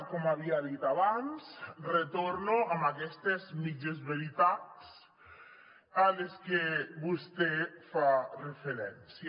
com havia dit abans retorno a aquestes mitges veritats a les que vostè fa referència